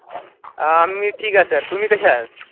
अह आम्ही ठीक आहे सर. तुम्ही कशा आहेत?